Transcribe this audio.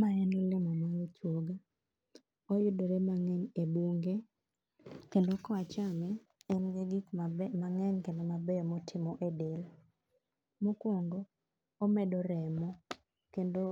Mae en olemo mar ochuoga, oyudore mang'eny e bunge kendo ka wachame to en gi gik mang'eny kendo mabeyo motimo e del. Mokuongo omedo remo kendo